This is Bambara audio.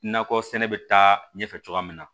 Nakɔ sɛnɛ bɛ taa ɲɛfɛ cogoya min na